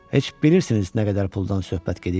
Heç bilirsiniz nə qədər puldan söhbət gedir?